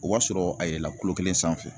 O b'a sɔrɔ a yɛlɛla kulo kelen sanfɛ